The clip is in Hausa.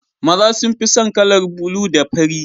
Maza sun fi son kalar bulu da fari